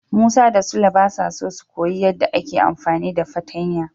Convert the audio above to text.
Musa da Sule basa so su koyi yadda ake amfani da fartanya.